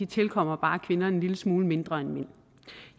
tilkommer kvinder en lille smule mindre end mænd